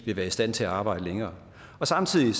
vil være i stand til at arbejde længere samtidig